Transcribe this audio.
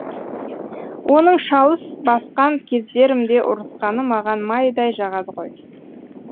оның шалыс басқан кездерімде ұрысқаны маған майдай жағады ғой